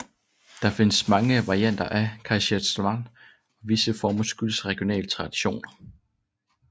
Der findes mange varianter af kaiserschmarrn og visse former skyldes regionale traditioner